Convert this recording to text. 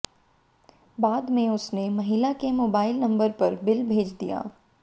बाद में उसने महिला के मोबाइल नंबर पर बिल भेज दिया